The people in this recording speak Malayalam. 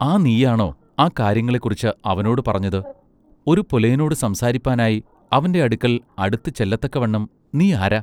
ആ നീയാണൊ ആ കാര്യങ്ങളെക്കുറിച്ച് അവനോട് പറഞ്ഞത് ഒരു പുലയനോട് സംസാരിപ്പാനായി അവന്റെ അടുക്കൽ അടുത്ത് ചെല്ലത്തക്കവണ്ണം നീ ആരാ?